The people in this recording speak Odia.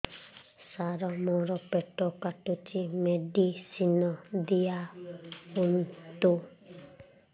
ସାର ମୋର ପେଟ କାଟୁଚି ମେଡିସିନ ଦିଆଉନ୍ତୁ